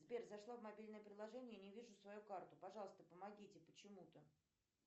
сбер зашла в мобильное приложение и не вижу свою карту пожалуйста помогите почему то